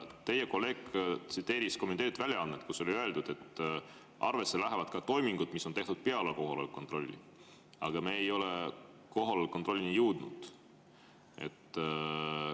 Teie kolleeg tsiteeris kommenteeritud väljaannet, kus on öeldud, et arvesse lähevad ka toimingud, mis on tehtud peale kohaloleku kontrolli, aga me ei ole kohaloleku kontrollini jõudnud.